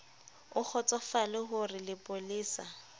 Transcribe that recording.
o kgotsofale ho re lepolesa